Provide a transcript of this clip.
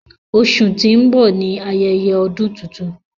Óṣù ti ń bọ ni Ayẹyẹ Ọ́dùn Tuntun